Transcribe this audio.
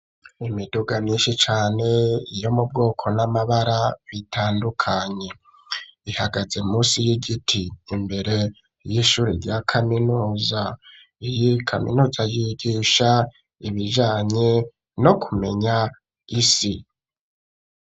Imiduga myinshi cane yo mu bwoko n'amabara bitandukanye, ihagaze musi y'igiti imbere y'ishure rya kaminuza. Iyi kaminuza yigisha ibijanye no kumenya isi.